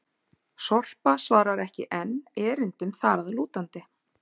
Sorpa svarar ekki enn erindum þar að lútandi!